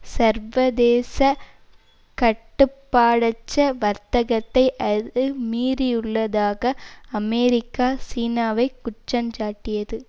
சர்வதேச கட்டுப்பாடற்ற வர்த்தகத்தை அது மீறியுள்ளதாக அமெரிக்கா சீனாவை குற்றஞ்சாட்டியது